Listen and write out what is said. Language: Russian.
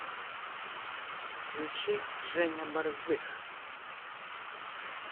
включи женя борзых